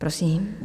Prosím.